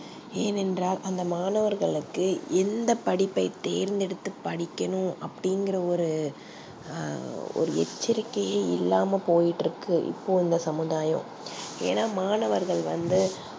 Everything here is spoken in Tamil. ஏன் என்றால் அந்த மாணவர்களுக்கு எந்த படிப்பை தேர்ந்தெடுத்து படிக்கணும் அப்டி இங்குற ஒரு அ ஒரு எச்சரிக்கையே இல்லாம போய்ட்டு இருக்கு இப்போ இந்த சமுதாயம் ஏனா மாணவர்கள் வந்து